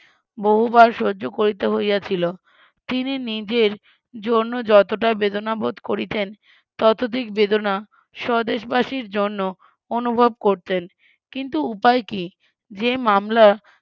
বহুবার সহ্য করিতে হইয়াছিল তিনি নিজের জন্য যতটা বেদনা বোধ করিতেন ততধিক বেদনা স্বদেশবাসীর জন্য অনুভব করতেন কিন্তু উপায় কি যে মামলা